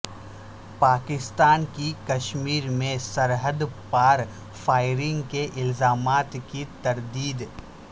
پاکستان کی کشمیر میں سرحد پار فائرنگ کے الزامات کی تردید